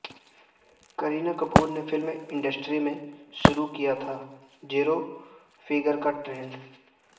کرینہ کپور نے film industry میں شروع کیا تھا زیرو فیگر کا ٹرینڈ